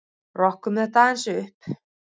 Rokkum þetta aðeins upp!